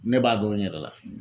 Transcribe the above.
Ne b'a dɔn n yɛrɛ la